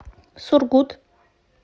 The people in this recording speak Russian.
сургут